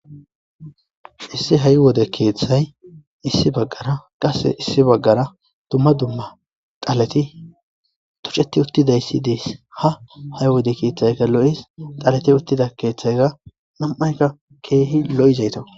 issi hay wode keeththay issi baggara qase issi baggara dumma dumma qalati tuceti uttidayssi dees ha hay wode keeththayka lo7is talati uttida keeththayga nam7ayka keehi lo7izayta